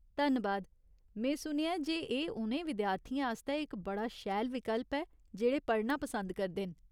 धन्नबाद, में सुनेआ ऐ जे एह् उ'नें विद्यार्थियें आस्तै इक बड़ा शैल विकल्प ऐ जेह्ड़े पढ़ना पसंद करदे न।